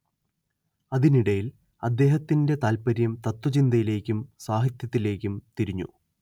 അതിനിടയിൽ അദ്ദേഹത്തിന്റെ താത്പര്യം തത്ത്വചിന്തയിലേക്കും സാഹിത്യത്തിലേക്കും തിരിഞ്ഞു